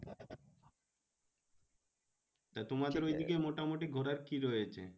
তা তোমাদের ওইদিকে মোটামুটি ঘোরার কি রয়েছে?